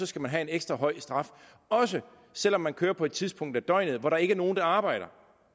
skal man have en ekstra høj straf også selv om man kører på et tidspunkt af døgnet hvor der ikke er nogen der arbejder